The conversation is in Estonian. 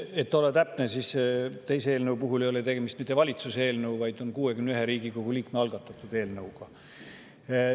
Et olla täpne, teise eelnõu puhul ei ole tegemist mitte valitsuse eelnõuga, vaid 61 Riigikogu liikme algatatud eelnõuga.